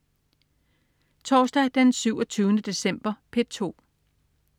Torsdag den 27. december - P2: